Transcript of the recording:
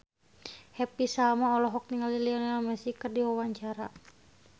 Happy Salma olohok ningali Lionel Messi keur diwawancara